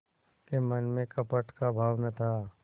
के मन में कपट का भाव न था